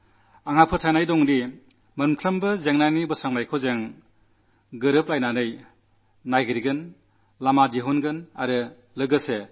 എല്ലാ പ്രശ്നങ്ങൾക്കും നാം ഒരുമിച്ചിരുന്ന് സമാധാനം കണ്ടെത്തുമെന്നും കശ്മീരിന്റെ വരും തലമുറയ്ക്ക് ശരിയായ വഴി തെളിക്കുമെന്നും എനിക്കു വിശ്വാസമുണ്ട്